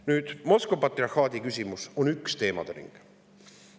Nüüd, Moskva patriarhaadi küsimus on üks teemade ring.